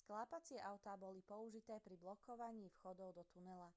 sklápacie autá boli použité pri blokovaní vchodov do tunela